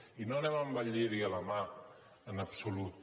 i no anem amb el lliri a la mà en absolut